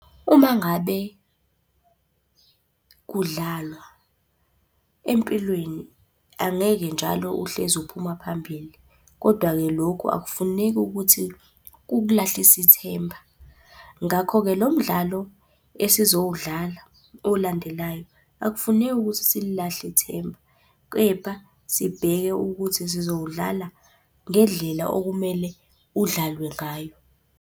Uma ngabe kudlalwa empilweni angeke njalo uhlezi uphuma phambili, kodwa-ke lokhu akufuneki ukuthi kukulahlise ithemba. Ngakho-ke lo mdlalo esizowudlala olandelayo, akufuneki ukuthi sililahle ithemba, kepha sibheke ukuthi sizowudlala ngendlela okumele udlalwe ngayo.